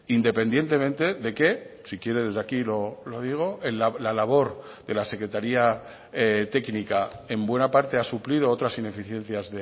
independientemente de que si quiere desde aquí lo digo la labor de la secretaría técnica en buena parte ha suplido otras ineficiencias